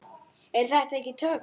Er þetta ekki töff?